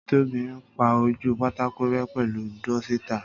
Tóbi ń pá ojú pátákó rẹ́ pẹ̀lu dúsítà